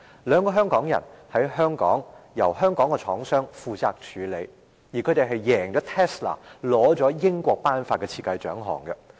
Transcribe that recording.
兩位香港人的產品在香港由香港廠商負責處理，他們贏了 Tesla， 獲得英國頒發的設計獎項。